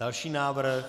Další návrh?